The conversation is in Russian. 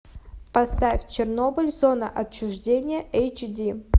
поставь чернобыль зона отчуждения эйч ди